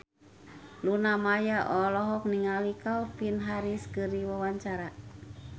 Luna Maya olohok ningali Calvin Harris keur diwawancara